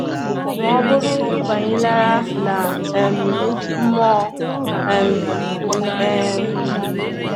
Ma ọ bụrụ ị banyelarị na um mmụọ? um um